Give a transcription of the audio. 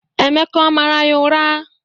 Emeka ọ mara ya ura?